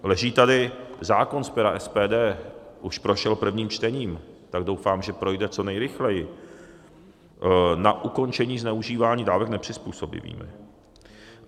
Leží tady zákon z pera SPD, už prošel prvním čtením, tak doufám, že projde co nejrychleji, na ukončení zneužívání dávek nepřizpůsobivými.